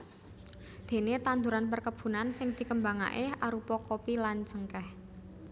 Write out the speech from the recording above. Déné tanduran perkebunan sing dikembangaké arupa kopi lan cengkèh